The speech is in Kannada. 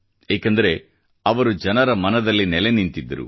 ಏಕೆಂದರೆ ಅವರು ಜನರ ಮನದಲ್ಲಿ ನೆಲೆ ನಿಂತಿದ್ದರು